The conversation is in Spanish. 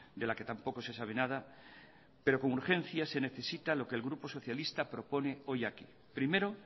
de la que tampoco se sabe nada pero con urgencia se necesita lo que el grupo socialista propone hoy aquí primero